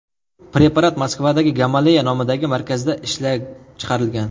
Preparat Moskvadagi Gamaleya nomidagi markazda ishlab chiqilgan.